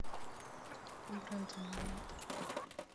бренда магнат